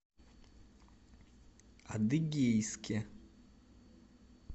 адыгейске